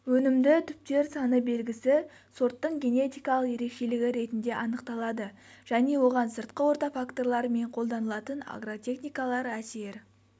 өнімді түптер саны белгісі сорттың генетикалық ерекшелігі ретінде анықталады және оған сыртқы орта факторлары мен қолданылатын агротехникалар әсер